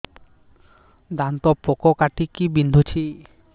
ଦାନ୍ତ ପୋକ କାଟିକି ବିନ୍ଧୁଛି